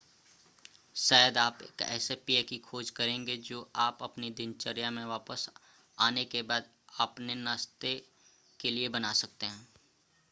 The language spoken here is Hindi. शायद आप एक ऐसे पेय की खोज करेंगे जो आप अपनी दिनचर्या में वापस आने के बाद अपने नाश्ते के लिए बना सकते हैं